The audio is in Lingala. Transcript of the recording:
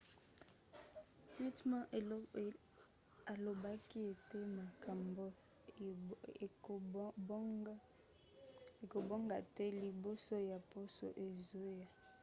pittman alobaki ete makambo ekobonga te liboso ya poso ezoya